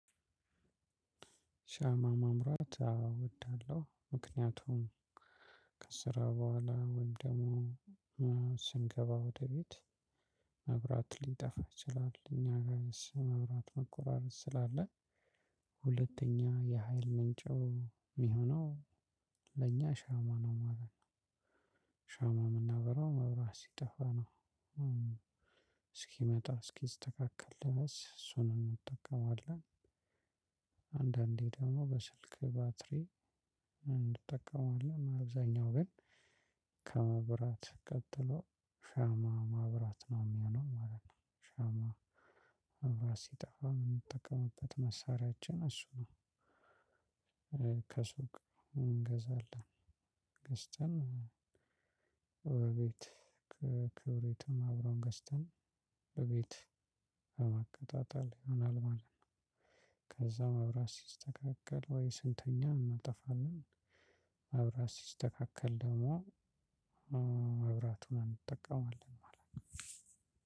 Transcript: ሻማ ማብራት አዎ እወዳለሁ ምክንያቱም ከስራ በኋላ ወይም ደግሞ ስንገባ ወደ ቤት መብራት ሊጠፋ ይችላል እኛ ጋር መብራት መቆራረጥ ስላለ ሁለተኛ የሀይል ምንጩ የሚሆነው ለኛ ሻማ ነው ማለት ነው። ሻማ የምናበረው መብራት ሲጠፋ ነው እስኪመጣ እስኪስተካከል ድረስ እሱን እንጠቀመዋለን። አንዳንዴ ደግሞ በስልክ ባትሪ እንጠቀማለን። አብዛኛው ግን ከመብራት ቀጥሎ ሻማ ማብራት ነው የሚሆነው ማለት ነው። ሻማ መብራት ሲጠፋ የምንጠቀምበት መሳሪያችን እሱ ነው። ከሱቅ እንገዛለን ገዝተን ወደ ቤት ክብሪቱን አብረን ገዝተን በቤት ለማቀጣጠል ይሆናል ማለት ነው። ከዛ መብራት ሲስተካከል ወይ ስንተኛ እናጠፋለን። መብራት ሲስተካከል ደግሞ መብራቱን እንጠቀማለን ማለት ነው።